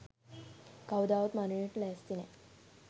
කවදාවත් මරණයට ලෑස්ති නෑ.